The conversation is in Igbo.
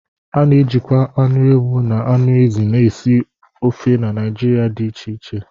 A na-ejikwa anụ ewu na anụ ezi na esi ofe Naijiria dị iche iche